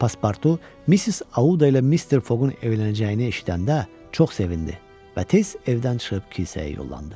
Pasportu Missis Auda ilə Mr. Fogun evlənəcəyini eşidəndə çox sevindi və tez evdən çıxıb kilsəyə yollandı.